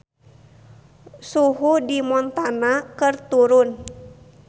Suhu di Montana keur turun